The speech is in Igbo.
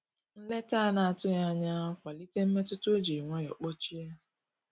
Nleta anatughi anya ya kwalite mmetụta o jiri nwayo kpochie.